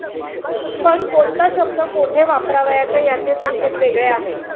पण कोणता शब्द कोठे वापरावयाचा याचे संकेत वेगळे आहेत.